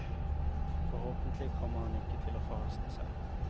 Forhåpentlig kommer han ikke til å forhaste seg.